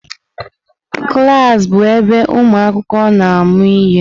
Klas bụ ebe ụmụ akwụkwọ na-amụ ihe.